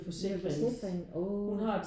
Er det så slemt? Uh